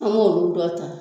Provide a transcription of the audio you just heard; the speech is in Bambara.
An b'o dun tɔ ta.